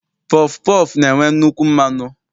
Pọfụ pọọfụ na-enwe nnukwu mmanụ.